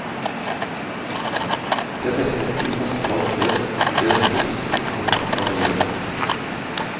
Blir dette en flyplass for folk flest, blir den ikke liten, og langt fra miljøvennlig.